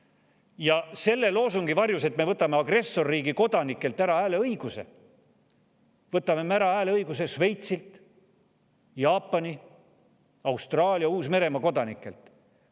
Ja selle loosungi varjus, et me võtame agressorriigi kodanikelt ära hääleõiguse, võtame me ära hääleõiguse ka Šveitsi, Jaapani, Austraalia ja Uus-Meremaa kodanikelt.